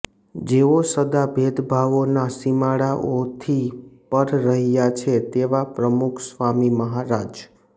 જેઓ સદા ભેદભાવોના સીમાડાઓથી પર રહ્યા છે તેવા પ્રમુખસ્વામી મહારાજ